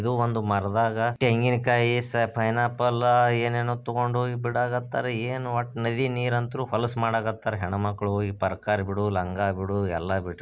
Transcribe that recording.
ಇದು ಒಂದು ಮರದಾಗ ತೆಂಗಿನಕಾಯಿ ಪೈನಾಪಲ್ ಏನೇನೋ ತಗೊಂಡುಹೋಗಿ ಬಿಟ್ಟಾರೆ ನದೀ ನೀರಂತು ಹೊಸ್ಲು ಮಾಡಕ್ಕತ್ತಾರೆ ಲಂಗಗಳು ಪ್ರಾಕುಗಳು ಎಲ್ಲಾ--